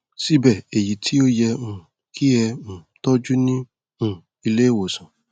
síbẹ èyí tí ó yẹ um kí e um tọjú ní um ilé ìwòsàn